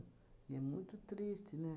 E é muito triste, né?